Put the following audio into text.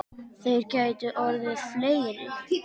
Þeir gætu orðið fleiri.